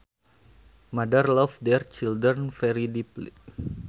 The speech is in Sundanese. Mothers love their children very deeply